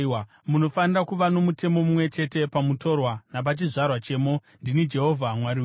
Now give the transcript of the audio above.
Munofanira kuva nomutemo mumwe chete pamutorwa napachizvarwa chemo. Ndini Jehovha Mwari wenyu.’ ”